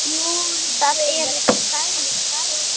Þar eru til dæmis garðar.